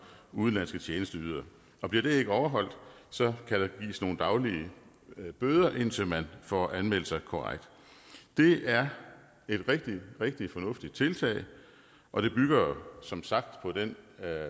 udenlandske tjenesteydere bliver det ikke overholdt kan der gives nogle daglige bøder indtil man får anmeldt sig korrekt det er et rigtig rigtig fornuftigt tiltag og det bygger som sagt på den